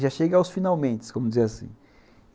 Já chega aos finalmentes, como dizia assim.